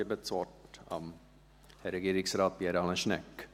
Ich gebe das Wort Herrn Regierungsrat Pierre Alain Schnegg.